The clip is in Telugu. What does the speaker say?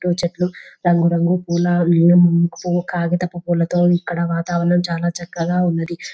చుటూ చెట్లు రంగు రంగు పూల పూలు కాగితపు పూలతోని ఇక్కడ వాతావరణం చాలా చక్కగా ఉన్నది.